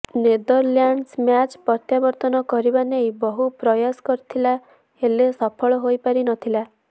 Netherlands match ପ୍ରତ୍ୟାବର୍ତ୍ତନ କରିବା ନେଇ ବହୁ ପ୍ରୟାସ କରିଥିଲା ହେଲେ ସଫଳ ହୋଇ ପାରି ନଥିଲା